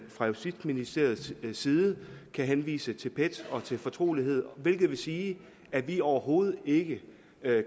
fra justitsministeriets side kan henvise til pet og til fortrolighed hvilket vil sige at vi overhovedet ikke